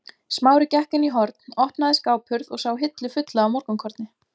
Smári gekk inn í horn, opnaði skáphurð og sá hillu fulla af morgunkorni.